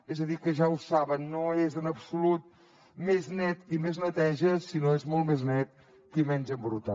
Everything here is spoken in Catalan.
és a dir que ja ho saben no és en absolut més net qui més neteja sinó que és molt més net qui menys embruta